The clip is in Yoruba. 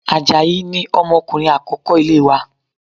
Àjàyí ni ọmọkùnrin akoko ilé wa